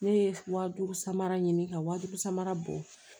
Ne ye wa duuru samara ɲini ka wa duuru samara bɔ